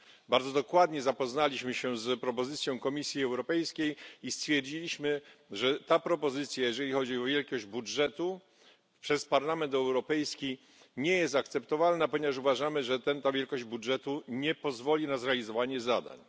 Bardzo dokładnie zapoznaliśmy się z propozycją Komisji Europejskiej i stwierdziliśmy, że ta propozycja, jeżeli chodzi o wielkość budżetu, przez Parlament Europejski nie jest akceptowalna, ponieważ uważamy, że ta wielkość budżetu nie pozwoli na zrealizowanie zadań.